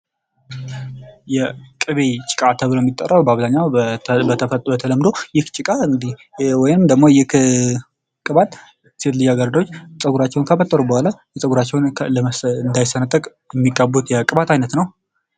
የቅቤ ጭቃ ተብሎ የሚጠራው በአብዛኛው በተለምዶ ይህ ጭቃ እንግዲህ ወይም ደግሞ ይህ ቅባት ሴት ልጅ አገረዶች ፀጉራቸውን ካፈጠሩ በኋላ ፀጉራቸውን እንዳይሰጥ የሚቀቡት የቅባት አይነት ነው።